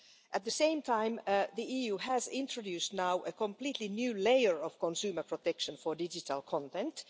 At the same time, the EU has introduced now a completely new layer of consumer protection for digital content.